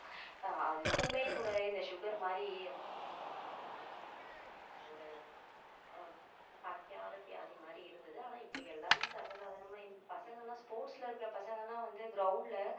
அதுவுமே கூட இந்த sugar மாதிரி அஹ் ஒரு பணக்கார வியாதி மாதிரி இருந்துது. ஆனா இப்போ எல்லாமே சர்வசாதாரணமா பசங்க எல்லாம் sports ல இருக்கிற பசங்க எல்லாம் வந்து ground ல